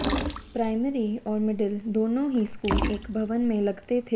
primary और middle दोनों ही स्कूल एक भवन में लगते थे